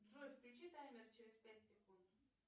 джой включи таймер через пять секунд